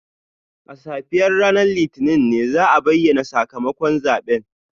A safiyar ranar Litinin ne za a bayyana sakamakon zaben